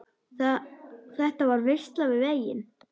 Þetta var veisla við veginn.